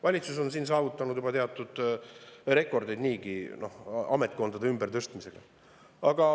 Valitsus on juba niigi saavutanud teatud rekordid ametkondade ümbertõstmisega.